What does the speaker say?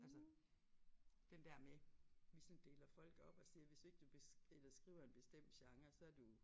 Altså den der med vi sådan deler folk op og siger hvis ikke du eller skriver en bestemt genre så du